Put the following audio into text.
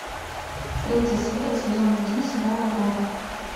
третья серия сезон один сериал аврора